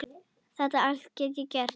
Þetta allt get ég gert.